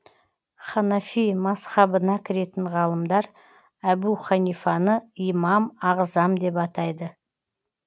ханафи мазһабына кіретін ғалымдар әбу ханифаны имам ағзам деп атайды